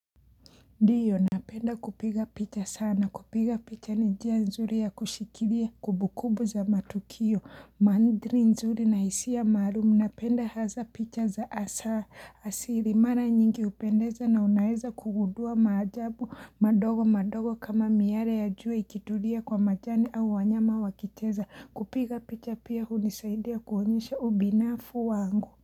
Diyo napenda kupiga picha sana kupiga picha ni njia nzuri ya kushikiria kubukubu za matukio mandri nzuri na isiya marumu napenda haza picha za asa asiri mara nyingi hupendeza na unaeza kugudua majabu madogo madogo kama miare ya juwa ikitulia kwa majani au wanyama wakicheza kupiga picha pia hunisaidia kuonyesha ubinafu wangu.